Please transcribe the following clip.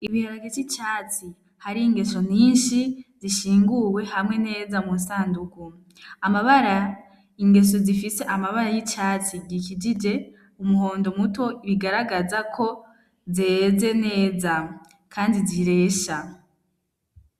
Ibiharagica icatsi hari ingeso ninshi zishinguwe hamwe neza mu sanduku amabara ingeso zifise amabara y'icatsi gikijije umuhondo muto ibigaragaza ko zeze neza, kandi ziresha.